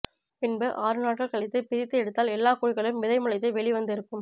பின்பு ஆறு நாட்கள் கழித்துபிரித்து எடுத்தால் எல்லா குழிகளிலும் விதை முளைத்து வெளி வந்து இருக்கும்